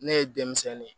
Ne ye denmisɛnnin ye